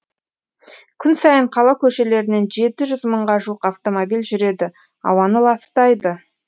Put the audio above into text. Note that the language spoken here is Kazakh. күн сайын қала көшелерінен жеті жүз мыңға жуық автомобиль жүреді ауаны ластайды